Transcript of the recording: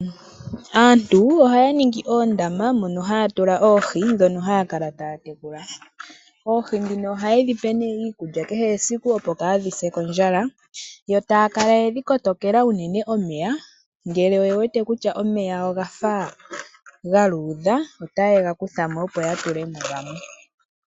Aantubohaya ningi oondama mono haya tula oohi ndhono haya kala taya tekula. Oohi ndhino ohaye dhipe nee iikulya kehe esiku opo kaadhi se kondjala, yo taya kala yedhi kotokela unene omeya, ngele oye wete kutya omeya oga fa ga luudha, otaye ga kutha mo opo ya tule mo gamwe.